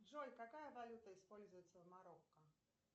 джой какая валюта используется в марокко